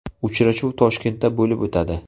Uchrashuv Toshkentda bo‘lib o‘tadi.